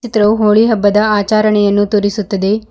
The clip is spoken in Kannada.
ದು ಹೋಳಿ ಹಬ್ಬದ ಆಚಾರಣೆಯನ್ನು ತೋರಿಸುತ್ತದೆ.